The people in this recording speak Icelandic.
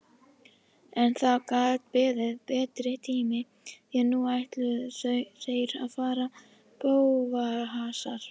En það gat beðið betri tíma því nú ætluðu þeir að fara í bófahasar.